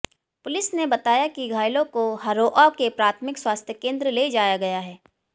police ने बताया कि घायलों को हरोआ के प्राथमिक स्वास्थ्य केन्द्र ले जाया गया है